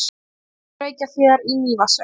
Hitaveitu Reykjahlíðar í Mývatnssveit.